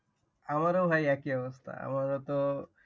আমারও ভাই একই অবস্থা আমারও তো